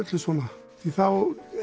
svona því þá